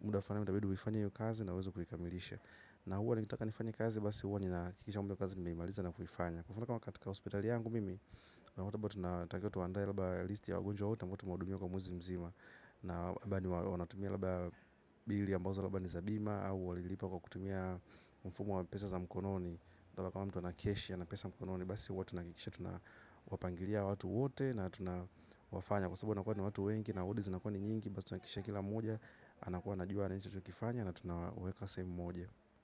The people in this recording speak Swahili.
Muda fulani itabidi uifanye hiyo kazi na uweze kuikamilisha. Na huwa nikitaka nifanye kazi basi huwa ninahakikisha muda wa kazi nimeimaliza na kuifanya kufana kama katika hospitali yangu mimi. Na watabot na tankiotu wanda ya laba listi ya agonjo huta Mkotu maudumio kwa muzimzima na wanatumia labda bill ambazi ni za tiba anakuwa najua anacho tu kifanya na tunaweka sehemu moja.